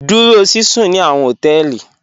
Dúró síṣún ní àwọn họtẹẹlì.